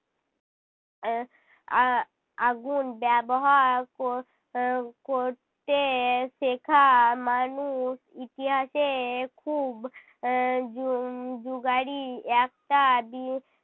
এর আহ আগুন ব্যবহার কর~ আহ করতে শেখা মানুষ ইতিহাসে খুব আহ যু~ যুগাড়ি